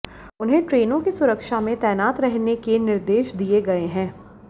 उन्हें ट्रेनों की सुरक्षा में तैनात रहने के निर्देश दिए गए हैं